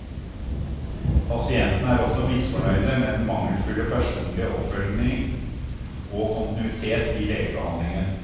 Pasientene er også misfornøyde med den mangelfulle personlige oppfølging og kontinuitet i legebehandlingen.